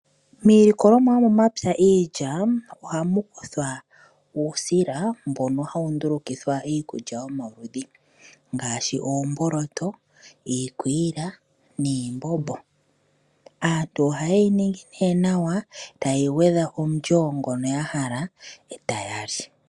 Miilikolomwa yomomapya ngaashi iilya ohamukuthwa uusila mbono hawu ndulukithwa iikulya yomaludhi ngaashi oomboloto, iikwiila niimbombo. Aantu oha yeyi ningi ihe nawa eta ye yi gwedha omulyo ngono ya hala eta ya li.